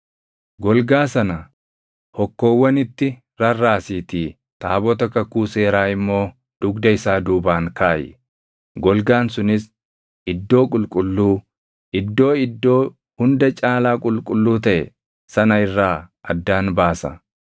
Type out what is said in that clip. Golgaa sana hokkoowwanitti rarraasiitii taabota kakuu seeraa immoo dugda isaa duubaan kaaʼi. Golgaan sunis Iddoo qulqulluu, Iddoo Iddoo Hunda Caalaa Qulqulluu taʼe sana irraa addaan baasa.